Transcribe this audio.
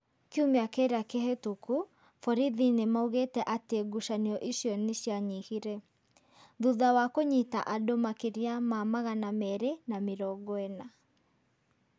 Kiumia kĩrĩa kĩhĩtũku, borithi nĩ maugĩte atĩ ngucanio icio nĩ cianyihire. Thutha wa kũnyita andũ makĩria ma magana mere mĩrongo ĩna .